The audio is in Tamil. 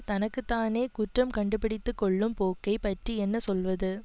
தனக்கு தானே குற்றம் கண்டுபிடித்துக்கொள்ளும் போக்கை பற்றி என்ன சொல்வது